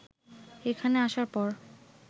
এখানে আসার পর